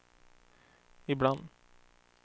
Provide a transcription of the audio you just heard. ibland